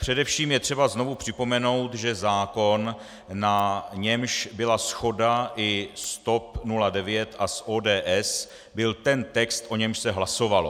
Především je třeba znovu připomenout, že zákon, na němž byla shoda i s TOP 09 a s ODS, byl ten text, o němž se hlasovalo.